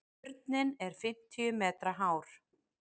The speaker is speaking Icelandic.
Turninn er fimmtíu metra hár.